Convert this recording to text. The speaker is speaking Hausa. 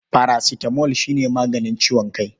Parasitamol shi ne maganin ciwon kai.